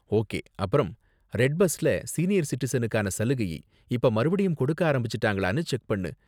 Okay, அப்பறம் red பஸ்ல senior சிட்டிசனுக்கான சலுகையை இப்ப மறுபடியும் கொடுக்க ஆரம்பிச்சுட்டாங்களானு செக் பண்ணு.